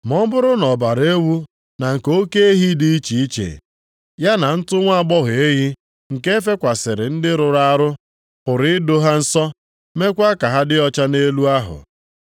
Ma ọ bụrụ na ọbara ewu na nke oke ehi dị iche iche, ya na ntụ nwa agbọghọ ehi, nke e fekwasịrị ndị rụrụ arụ, pụrụ ido ha nsọ, meekwa ka ha dị ọcha nʼelu ahụ.